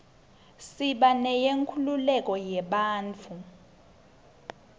siba neyenkhululeko yebantfu